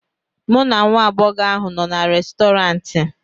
mụ na nwa agbọghọ ahụ nọ na Restọrantị